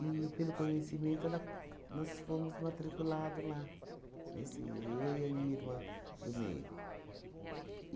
pelo conhecimento ela, nós fomos matriculado lá, nesse eu e a minha irmã do meio.